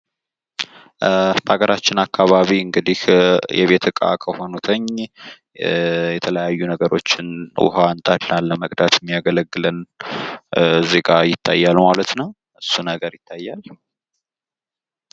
በሀገራችን አካባቢ እንግዲህ የቤት እቃ ከሆኑት የተለያዩ ነገሮችን ውሃን ለመቅዳት የሚያገለግለን እዚህጋ ይታያል ማለት ነው። እሱ ነገር ይታያል።